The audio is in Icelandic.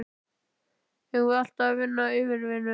Eigum við alltaf að vinna yfirvinnu?